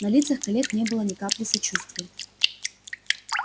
на лицах коллег не было ни капли сочувствия